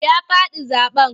Ya faɗi zaɓen.